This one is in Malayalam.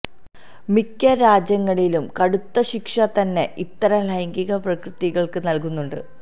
മിക്ക രാജ്യങ്ങളിലും കടുത്ത ശിക്ഷ തന്നെ ഇത്തരം ലൈംഗിക വൈകൃതങ്ങള്ക്ക് നല്കുന്നുണ്ട്